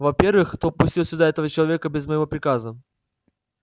во-первых кто пустил сюда этого человека без моего приказа